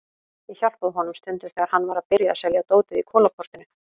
Ég hjálpaði honum stundum þegar hann var að byrja að selja dótið í Kolaportinu.